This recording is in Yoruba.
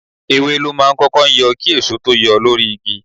Ewé ló máa ń kọ́kọ́ yọ kí èso tó yọ lórí igi.